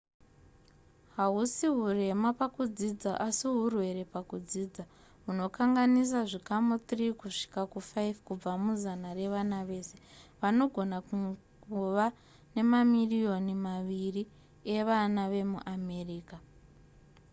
hausi hurema pakudzidza asi hurwere pakudzidza hunokanganisa zvikamu 3 kusvika ku5 kubva muzana revana vese vanogona kungova mamirioni maviri evana vemuamerica